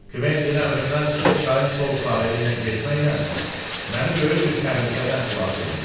Kventin əmrimdən çıxıb çayın sol sahili ilə getməklə məni böyük bir təhlükədən xilas eləyib.